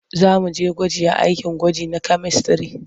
Za mu je gwaji a akin gwaji na kyamistare.